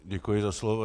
Děkuji za slovo.